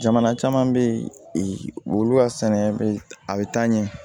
Jamana caman bɛ yen wulu ka sɛnɛ a bɛ taa ɲɛ